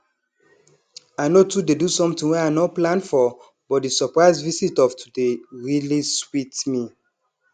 i no too dey do something wey i nor plan for but di surprise visit of today really sweet me